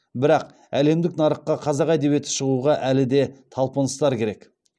бірақ әлемдік нарыққа қазақ әдебиеті шығуға әлі де талпыныстар керек